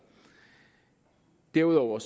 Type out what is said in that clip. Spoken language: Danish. derudover